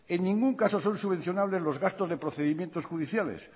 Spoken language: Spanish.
en ningún caso son subvencionables los gastos de procedimientos judiciales